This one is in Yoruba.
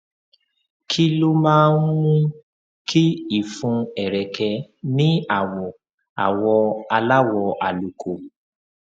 kí ló máa ń mú kí ìfun ẹrẹkẹ ní àwọ àwọ aláwọ àlùkò